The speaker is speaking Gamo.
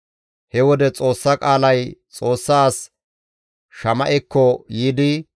He wode Xoossa qaalay Xoossa as Shama7ekko yiidi,